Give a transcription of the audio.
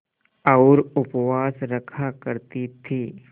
और उपवास रखा करती थीं